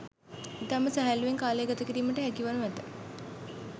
ඉතාම සැහැල්ලූවෙන් කාලය ගත කිරීමට හැකි වනු ඇත